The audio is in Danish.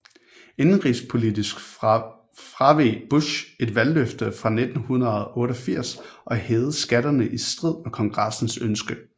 Indenrigspolitisk fraveg Bush et valgløfte fra 1988 og hævede skatterne i strid med Kongressens ønske